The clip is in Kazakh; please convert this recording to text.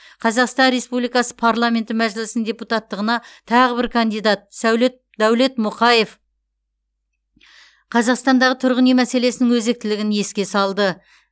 қазақстан республикасы парламенті мәжілісінің депутаттығына тағы бір кандидат сәулет дәулет мұқаев қазақстандағы тұрғын үй мәселесінің өзектілігін еске салды